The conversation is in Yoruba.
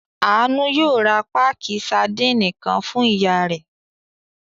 Àánú yóò ra páákì sadínì kan fún ìyá rẹ̀.